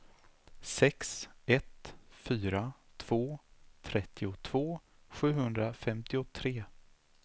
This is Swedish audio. sex ett fyra två trettiotvå sjuhundrafemtiotre